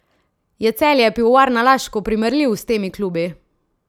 Je Celje Pivovarna Laško primerljiv s tem klubi?